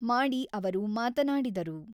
ಮಾಡಿ ಅವರು ಮಾತನಾಡಿದರು.